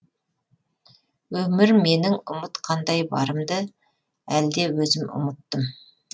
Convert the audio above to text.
өмір менің ұмытқандай барымды әлде өзім ұмыттым